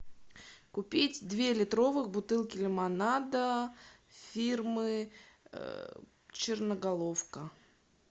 купить две литровых бутылки лимонада фирмы черноголовка